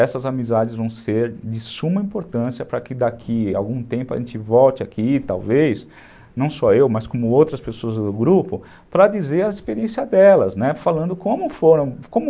Essas amizades vão ser de suma importância para que daqui a algum tempo a gente volte aqui, talvez, não só eu, mas como outras pessoas do grupo, para dizer a experiência delas, né, falando como foram, como...